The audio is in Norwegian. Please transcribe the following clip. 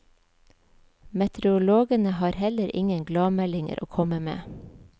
Meteorologene har heller ingen gladmeldinger å komme med.